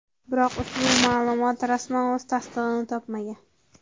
Biroq ushbu ma’lumot rasman o‘z tasdig‘ini topmagan.